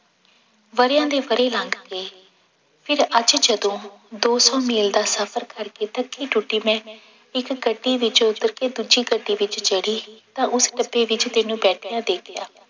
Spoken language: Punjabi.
ਵਰ੍ਹਿਆਂ ਦੇ ਵਰ੍ਹੇ ਲੰਘ ਗਏ ਫਿਰ ਅੱਜ ਜਦੋਂ ਦੋ ਸੌ ਮੀਲ ਦਾ ਸਫ਼ਰ ਕਰਕੇ ਥੱਕੀ ਟੁੱਟੀ ਮੈਂ ਇੱਕ ਗੱਡੀ ਵਿੱਚੋਂ ਉੱਤਰ ਕੇ ਦੂਜੀ ਗੱਡੀ ਵਿੱਚ ਚੜ੍ਹੀ ਤਾਂ ਉਸ ਡੱਬੇ ਵਿੱਚ ਤੈਨੂੰ ਬੈਠਿਆਂ ਦੇਖਿਆ।